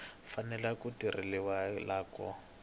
fanele ku tekeriwa enhlokweni loko